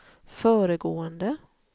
föregående